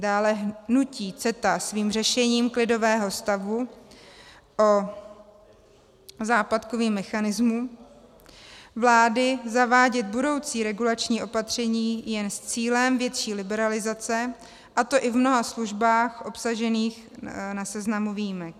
Dále nutí CETA svým řešením klidového stavu a západkovým mechanismem vlády zavádět budoucí regulační opatření jen s cílem větší liberalizace, a to i v mnoha službách obsažených na seznamu výjimek.